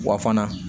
Wa fana